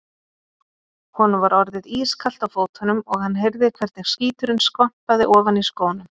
Honum var orðið ískalt á fótunum og hann heyrði hvernig skíturinn skvampaði ofan í skónum.